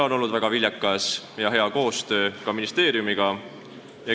On olnud väga viljakas ja hea koostöö ministeeriumiga.